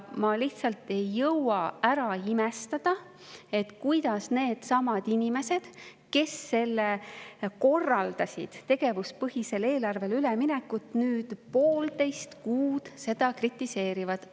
Ma lihtsalt ei jõua ära imestada, kuidas needsamad inimesed, kes korraldasid tegevuspõhisele eelarvele üleminekut, nüüd poolteist kuud seda eelarvet kritiseerivad.